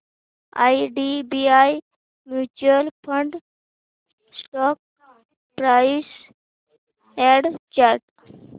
IDBI mutual fund stock price and chart